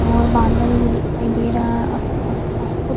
और बादल भी दिखाई दे रहा है आस - पास बहुत --